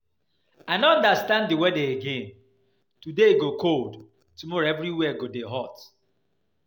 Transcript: I no understand the weather again, today e go cold tomorrow everywhere go dey hot